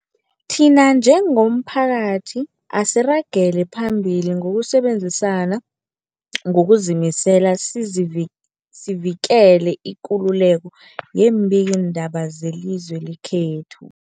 Thina njengomphakathi, asiragele phambili ngokusebenzisana ngokuzimisela sizivi sivikele ikululeko yeembikiindaba zelizwe lekhethu.